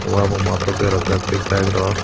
ua bo math o berajak tei bike rok.